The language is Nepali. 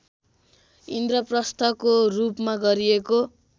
इन्द्रप्रस्थको रूपमा गरिएको